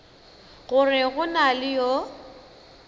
gore go na le yo